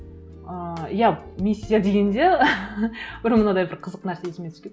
ыыы иә миссия дегенде бұрын мынадай бір қызық нәрсе есіме түсіп кетті